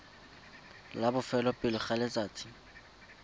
la bofelo pele ga letsatsi